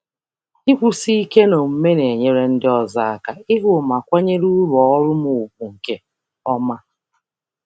Ịnọgide na-agbanwe agbanwe n’àgwà na-enyere ndị ọzọ aka ịhụ ma sọpụrụ uru ọrụ m nke ọma.